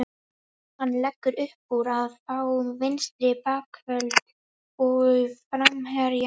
Hann leggur uppúr að fá vinstri bakvörð og framherja.